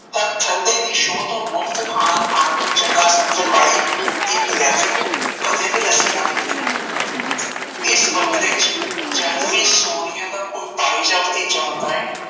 ਤਾਂ ਥੱਲੇ ਦੀ ਸ਼ੋਅ ਤੋਂ ਮੁਫ਼ਤ ਖਾਣਾ ਖਾਣ ਨੂੰ ਚੰਗਾ ਸਮਝਣ ਵਾਲੀ ਇਹ ਵਿਲੈਤਨ ਕਦੇ ਵੀ ਲੱਸੀ ਨਾਂ ਪੀਂਦੀ ਇਸ ਬੰਗਲੇ ਵਿੱਚ ਜਦ ਵੀ ਕੋਈ ਸੋਨੀਆ ਦਾ ਕੋਈ ਭਾਈ ਜਾਣ ਭਤੀਜਾ ਆਉਂਦਾ ਐ